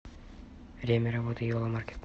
время работы йола маркет